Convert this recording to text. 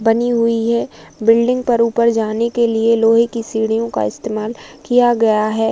बनी हुई है। बिल्डिंग पर ऊपर जाने के लिए लोहे की सीढीयों का इस्तेमाल किया गया है।